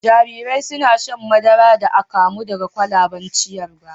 Jarirai suna shan madara da akamu daga kwalaben ciyarwa